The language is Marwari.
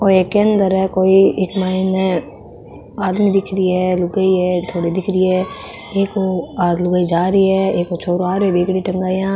ओ एक केंद्र है कोई इक माइन आदमी दिख री है लुगाई है थोड़ी दिख री है एक ओ लुगाई जा री है एक ओ छोरो आ रेहो है बेगडी टंगाया।